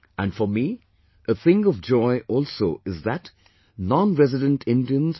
And for me a thing of joy also is that nonresident Indians